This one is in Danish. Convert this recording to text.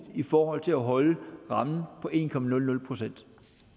i forhold til at holde rammen på en procent